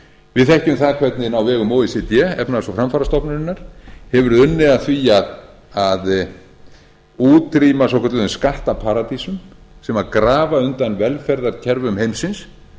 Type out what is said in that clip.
við þekkjum hvernig á vegum o e c d efnahags og framfarastofnunarinnar hefur verið unnið að því að útrýma svokölluðum skattaparadísum sem grafa undan velferðarkerfum heimsins